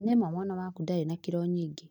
Nĩ ma mwana waku ndarĩ na kirũ nyingĩ